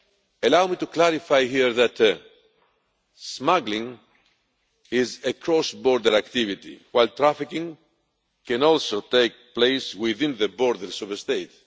Allow me to clarify here that smuggling is a cross border activity while trafficking can also take place within the borders of a state.